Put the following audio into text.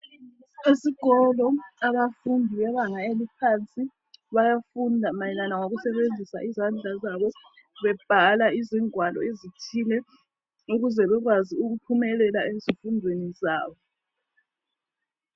Esikolo abafundi bebanga eliphansi bayafunda mayelana ngokusebenzisa izandla zabo bebhala izingwalo ezithile ukuze bekwazi ukuphumelela ezifundweni zabo.